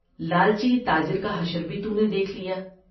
لا لچی تا جر کا یہ بھی تو نے دیکھ لیا ۔